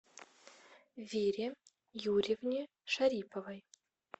вере юрьевне шариповой